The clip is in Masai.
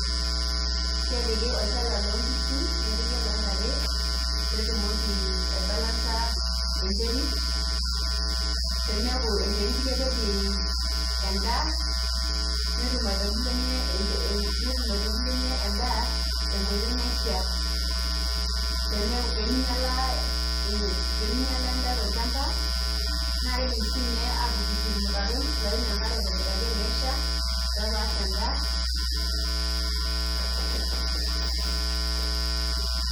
Kepiki olchala loo nkishu nepiki oloo ntare petumoki ai balance enterit pemeku enterit kepej endaa netum aitubulunyie endaa tenkitoi naishaa peminyiala endaa tolchamba naa kidim sinye atututur irmutaron oyim enkare aitobiraki tenesha pee epash endaa